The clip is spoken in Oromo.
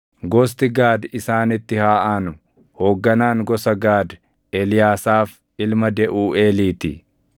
Gosti Gaad isaanitti haa aanu. Hoogganaan gosa Gaad Eliyaasaaf ilma Deʼuuʼeelii ti.